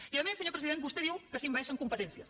i a més senyor president vostè diu que s’envaeixen competències